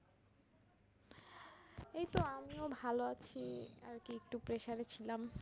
এইত আমিও ভালো আছি আরকি একটু pressure এ ছিলাম